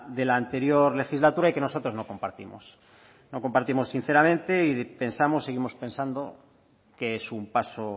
de la anterior legislatura y que nosotros no compartimos no compartimos sinceramente y pensamos seguimos pensando que es un paso